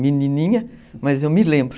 Menininha, mas eu me lembro.